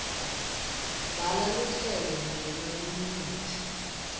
bhala luhlelo nemaminithi